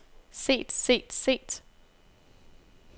set set set